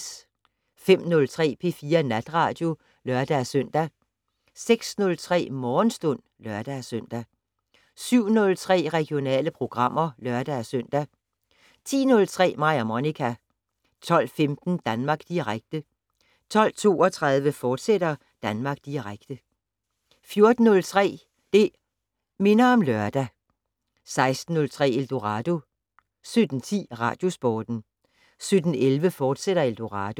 05:03: P4 Natradio (lør-søn) 06:03: Morgenstund (lør-søn) 07:03: Regionale programmer (lør-søn) 10:03: Mig og Monica 12:15: Danmark Direkte 12:32: Danmark Direkte, fortsat 14:03: Det' Minder om Lørdag 16:03: Eldorado 17:10: Radiosporten 17:11: Eldorado, fortsat